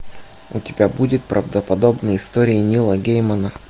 у тебя будет правдоподобные истории нила геймана